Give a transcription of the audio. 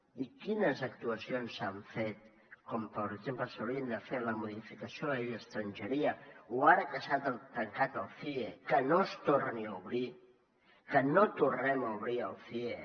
i quines actuacions s’han fet com per exemple s’haurien de fer la modificació de la llei d’estrangeria o ara que s’ha tancat el cie que no es torni a obrir que no tornem a obrir el cie